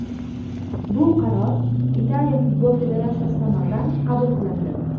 Bu qaror Italiya futbol federatsiyasi tomonidan qabul qilindi.